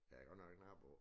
Der godt nok knald på